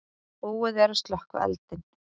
Búið er að slökkva eldinn.